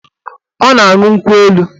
Ọ na-aṅụ nkwụ elu